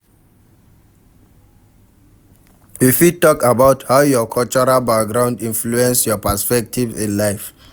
You fit talk about how your cultural background influence your perspective in life.